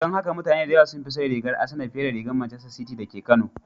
Don haka mutane da yawa sun fi son rigar Asenaa fiye da rigar Macester City da ke Kano